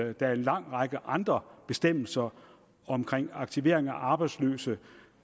at der er en lang række andre bestemmelser omkring aktivering af arbejdsløse